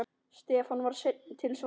Stefán var seinn til svars.